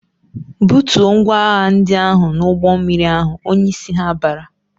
"Butuo ngwaahịa ndị ahụ n'ụgbọmmiri ahụ!" Onyeisi ha bara.